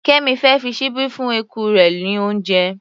Kẹ́mì fẹ́ fi ṣíbí fún eku rẹ̀ ní oúnjẹ.